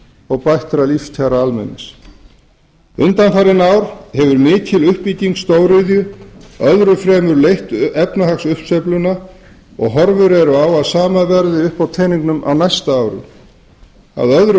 og bættra lífskjara almennings undanfarin ár hefur mikil uppbygging stóriðju öðru fremur leitt efnahagsuppsveifluna og horfur eru á að sama verði uppi á teningnum á næsta ári að öðru